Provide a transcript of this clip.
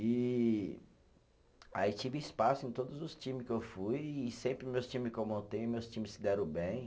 E aí tive espaço em todos os times que eu fui e sempre meus times que eu montei, meus times se deram bem.